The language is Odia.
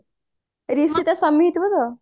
ତା ସ୍ଵାମୀ ହେଇଥିବ